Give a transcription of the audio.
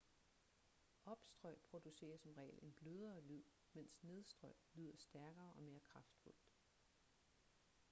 opstrøg producerer som regel en blødere lyd mens nedstrøg lyder stærkere og mere kraftfuldt